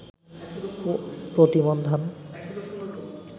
প্রতিমণ ধান